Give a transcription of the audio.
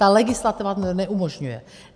Ta legislativa to neumožňuje.